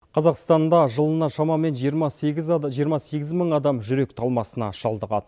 қазақстанда жылына шамамен жиырма сегіз мың адам жүрек талмасына шалдығады